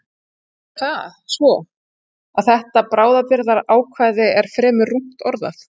Nú er það svo, að þetta bráðabirgðaákvæði er fremur rúmt orðað.